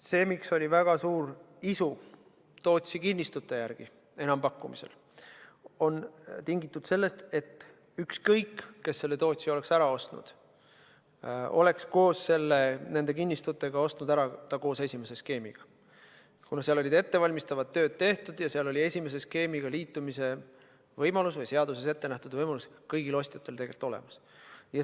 See, miks oli väga suur isu Tootsi kinnistute järele enampakkumisel, on tingitud sellest, et ükskõik, kes oleks Tootsi ära ostnud, oleks selle koos nende kinnistutega ostnud ära koos esimese skeemiga, kuna seal olid ettevalmistustööd tehtud ja esimese skeemiga liitumise võimalus või seaduses ette nähtud võimalus oli tegelikult kõigil ostjatel olemas.